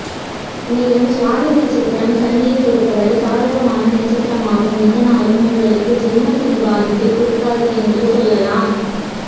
மேலும் சுவாதி நட்சத்திரம் சனியை பொருத்தவரை சாதகமான நட்சத்திரமாகும் இதனாலும் உங்களுக்கு ஜென்ம சனி பாதிப்பை கொடுக்காது என்று சொல்லலாம்